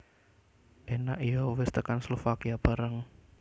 Enak yo wes tekan Slovakia barang